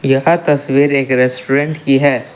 यह तस्वीर एक रेस्टोरेंट की है।